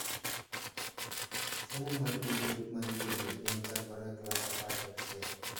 Somo mar buge ma ikelo e penj chakore e klas apar gachiel.